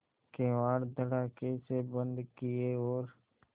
किवाड़ धड़ाकेसे बंद किये और